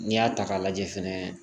N'i y'a ta k'a lajɛ fɛnɛ